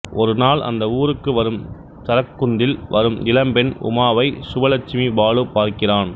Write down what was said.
ஒரு நாள் அந்த ஊருக்கு வரும் சரக்குந்தில் வரும் இளம்பெண் உமாவை சுவலட்சுமி பாலு பார்க்கிறான்